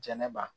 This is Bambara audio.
Jɛnɛba